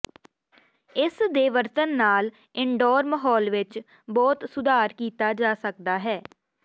ਇਸ ਦੇ ਵਰਤਣ ਨਾਲ ਇਨਡੋਰ ਮਾਹੌਲ ਵਿੱਚ ਬਹੁਤ ਸੁਧਾਰ ਕੀਤਾ ਜਾ ਸਕਦਾ ਹੈ